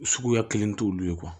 Suguya kelen t'olu ye